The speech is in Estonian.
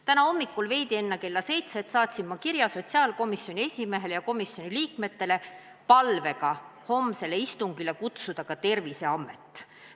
Täna hommikul veidi enne kella seitset saatsin ma kirja sotsiaalkomisjoni esimehele ja komisjoni liikmetele palvega homsele istungile kutsuda ka Terviseamet.